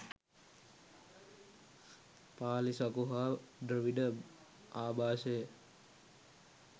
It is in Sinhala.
පාලි, සකු හා ද්‍රවිඩ ආභාෂය